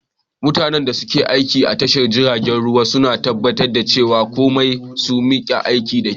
Mutanen da ke aiki a tashar jiragen ruwa suna tabbatar da cewa komai su na aiki da kyau.